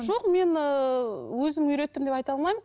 жоқ мен ыыы өзім үйреттім деп айта алмаймын